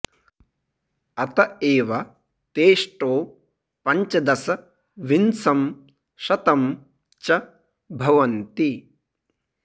अत एव तेऽष्टौ पञ्चदश विंशं शतं च भवन्ति